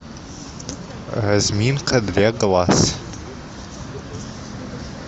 разминка для глаз